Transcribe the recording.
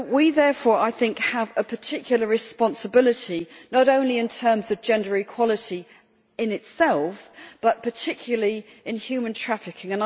Therefore I think we have a particular responsibility, not only in terms of gender equality in itself but particularly in human trafficking.